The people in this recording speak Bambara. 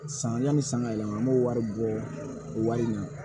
San yanni san ka yɛlɛma an b'o wari bɔ wari in na